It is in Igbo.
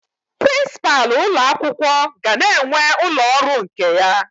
Prinsipalụ ụlọ akwụkwọ ga na-enwe ụlọ ọrụ nke ya